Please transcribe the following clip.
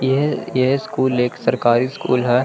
यह यह स्कूल एक सरकारी स्कूल है।